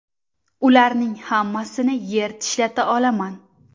Ularning hammasini yer tishlata olaman.